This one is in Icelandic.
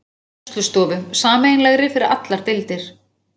Kennslustofu, sameiginlegri fyrir allar deildir.